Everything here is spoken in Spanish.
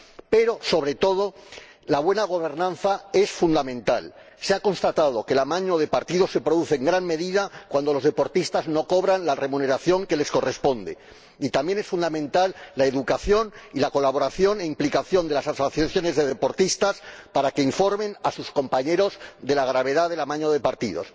Pero, sobre todo, la buena gobernanza es fundamental —se ha constatado que el amaño de partidos se produce en gran medida cuando los deportistas no cobran la remuneración que les corresponde—, y también son fundamentales la educación y la colaboración e implicación de las asociaciones de deportistas para que informen a sus compañeros de la gravedad del amaño de partidos.